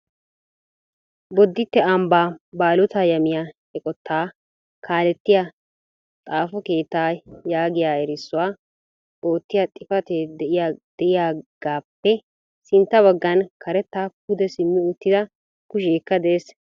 Boditte ambba Baalota yamiyaa eqqota kaaletiya xaafo keetta yaagiya erissuwaa oottiyaa xifatee de'iyaagappe sintta baggan karetta pude simmi uttida kushshekka de'ees.